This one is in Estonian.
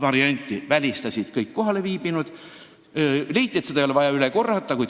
Selle välistasid kõik kohalviibinud ja avaldati arvamust, et seda ei ole vaja üle korrata.